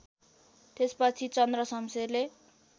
त्यसपछि चन्द्रशमशेरले